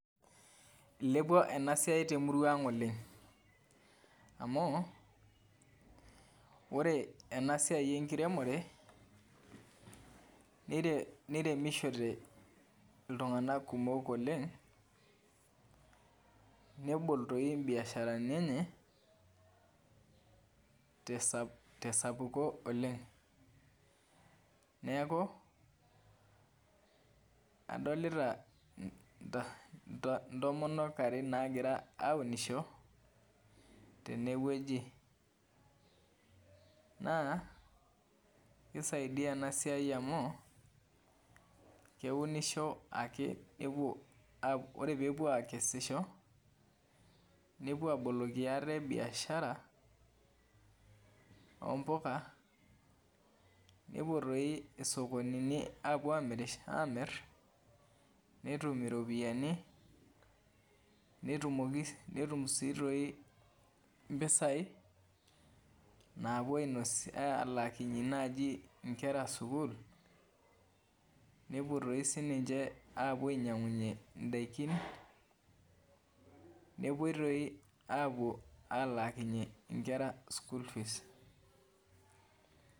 Ilepua ena siai temurua ang' oleng' amu ore ena siai enkiremore niremishote iltung'anak kumok oleng' nebol toi mbiasharani enye tesapuko oleng' neeku adolita ntomonok are naagira aaunisho tenewueji naa kisaidia ena siai amu keunisho ake ore pee epuo aakesisho nepuo aaboloki ate biashara oompuka nepuo toi isokonini aapuo aamirr netum iropiyiani netum sii tooi mpisaai naapuo aalakinyie naaji nkera sukuul nepuo toi sininche aapuo ainyiang'unyie ndaiki nepuoi tooi aapuo aalaakinyie nkera school fees.